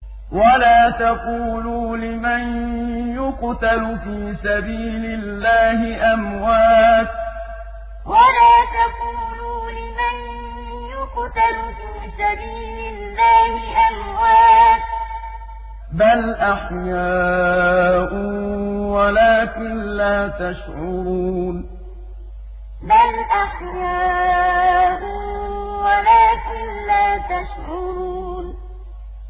وَلَا تَقُولُوا لِمَن يُقْتَلُ فِي سَبِيلِ اللَّهِ أَمْوَاتٌ ۚ بَلْ أَحْيَاءٌ وَلَٰكِن لَّا تَشْعُرُونَ وَلَا تَقُولُوا لِمَن يُقْتَلُ فِي سَبِيلِ اللَّهِ أَمْوَاتٌ ۚ بَلْ أَحْيَاءٌ وَلَٰكِن لَّا تَشْعُرُونَ